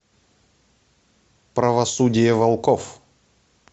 правосудие волков